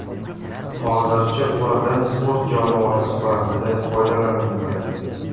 Hozirda ulardan sport jonivori sifatida foydalaniladi.